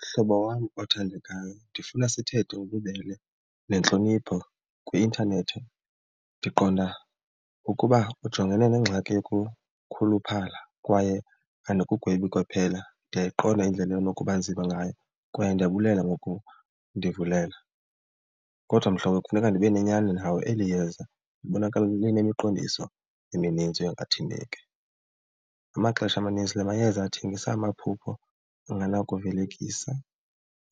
Mhlobo wam othandekayo, ndifuna sithethe ngobubele nentlonipho kwi-intanethi. Ndiqonda ukuba ujongene nengxaki yokukhuluphala kwaye andikugwebi kwaphela. Ndiyayiqonda indlela enokuba nzima ngayo kwaye ndiyabulela ngokundivulela. Kodwa mhlobo kufuneka ndibe nenyani nawe, eli yeza libonakala linemiqondiso eminintsi yongathembeki. Ngamaxesha amaninzi la mayeza athengisa amaphupho angenakuvelekisa.